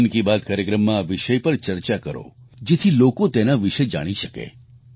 મન કી બાત કાર્યક્રમમાં આ વિષય પર ચર્ચા કરો જેથી લોકો તેના વિશે જાણી શકે